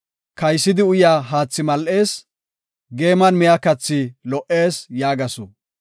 “Kaysidi uyaa haathi mal7ees; geeman miya kathi lo77ees” yaagasu.